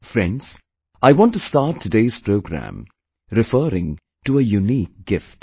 Friends, I want to start today's program referring to a unique gift